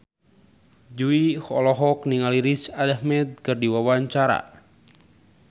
Jui olohok ningali Riz Ahmed keur diwawancara